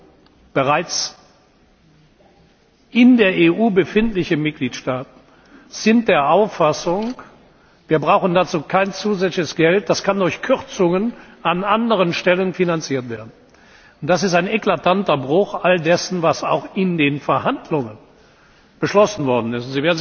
Und bereits in der EU befindliche Mitgliedstaaten sind der Auffassung, wir brauchen dazu kein zusätzliches Geld, das kann durch Kürzungen an anderen Stellen finanziert werden. Das ist ein eklatanter Bruch all dessen, was auch in den Verhandlungen beschlossen worden ist.